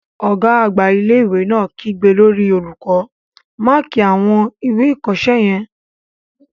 Ọ̀gá àgbà ilé-ìwé náà kígbe lórí olùkọ́, "máàkí àwọn ìwé ìkọsẹ́ yẹn!